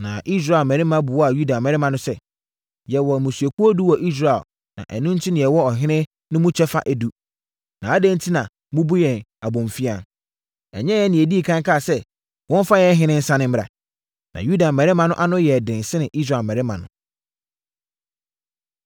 Na Israel mmarima buaa Yuda mmarima no sɛ, “Yɛwɔ mmusuakuo edu wɔ Israel na ɛno enti yɛwɔ ɔhene no mu kyɛfa edu. Na adɛn enti na mobu yɛn abomfiaa? Ɛnyɛ yɛn na yɛdii ɛkan kaa sɛ, wɔmfa yɛn ɔhene nsane mmra?” Na Yuda mmarima no ano yɛɛ den sene Israel mmarima no.